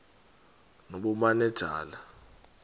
nobumanejala